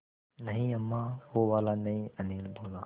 नहीं अम्मा वो वाला नहीं अनिल बोला